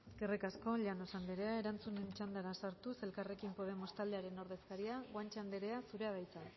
eskerrik asko llanos anderea erantzunen txandara sartuz elkarrekin podemos taldearen ordezkaria guanche anderea zurea da hitza